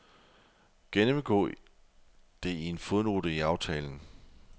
Gennemgå det i en fodnote i aftalen.